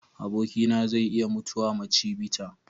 Abokina zai iya mutuwa ma chivita.